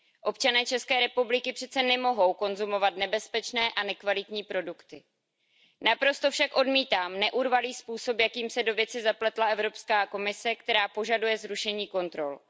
Občané České republiky přece nemohou jíst nebezpečné a nekvalitní produkty. Naprosto však odmítám neurvalý způsob, jakým se do věci zapletla EU, která požaduje zrušení kontrol.